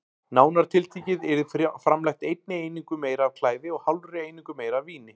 Nánar tiltekið yrði framleitt einni einingu meira af klæði og hálfri einingu meira af víni.